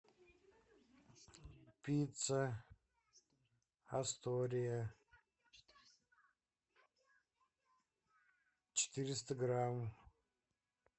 пицца астория четыреста грамм